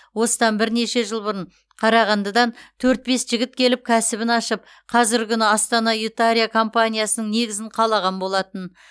осыдан бірнеше жыл бұрын қарағандыдан төрт бес жігіт келіп кәсібін ашып қазіргі күні астана ютария компаниясының негізін қалаған болатын